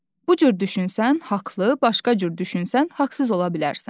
Bu cür düşünsən haqlı, başqa cür düşünsən haqsız ola bilərsən.